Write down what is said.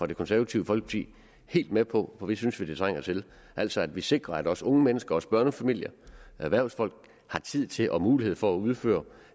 det konservative folkeparti helt med på for det synes vi det trænger til altså at vi sikrer at også unge mennesker også børnefamilier og erhvervsfolk har tid til og mulighed for at udføre